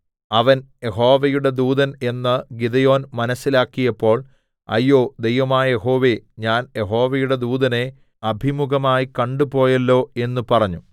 അവൻ യഹോവയുടെ ദൂതൻ എന്ന് ഗിദെയോൻ മനസ്സിലാക്കിയപ്പോൾ അയ്യോ ദൈവമായ യഹോവേ ഞാൻ യഹോവയുടെ ദൂതനെ അഭിമുഖമായി കണ്ടു പോയല്ലോ എന്ന് പറഞ്ഞു